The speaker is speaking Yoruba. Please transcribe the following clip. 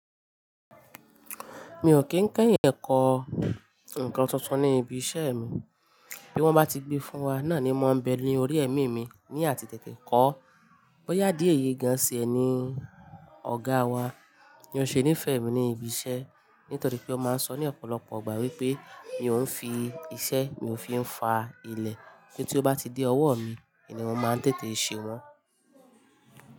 Mi ò kí ń kẹ́yìn ẹ̀kọ́ nǹkan tuntun ní ibi iṣẹ́ mi. Bí wọ́n bá ti gbe fún wa, náà ni mo ń bẹ ní orí ẹ̀mí mi ní àti tètè kọ́. Bóyá di èyí gan se ẹni ọ̀gá wa ni ó ṣe ní fẹ̀ mí ní ibi iṣẹ́ nítorí pé ó máa ń sọ ní ọ̀pọ̀lọpọ̀ ìgbà wípé mi ò ń fi iṣẹ́ mi ò fi ń fa ilẹ̀ kí tí ó bá ti dé ọwọ́ mi ni mo máa tètè ṣe wọ́n.